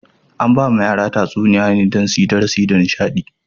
Ana ba wa yara tatsuniyoyi ne don suyi darasi da nishaɗi.